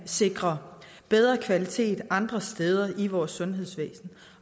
sikre bedre kvalitet andre steder i vores sundhedsvæsen